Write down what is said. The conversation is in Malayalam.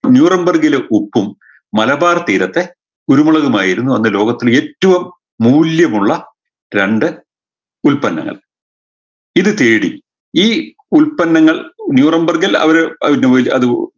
ന്യൂറംബർഗിലെ ഉപ്പും മലബാർ തീരത്തെ കുരുമുളകുമായിരുന്നു അന്ന് ലോകത്തെ ഏറ്റവും മൂല്യമുള്ള രണ്ട് ഉൽപ്പന്നങ്ങൾ ഇത് തേടി ഈ ഉൽപ്പന്നങ്ങൾ ന്യൂറംബർഗിൽ അവര് ആഹ് അത് ന്യു അഹ്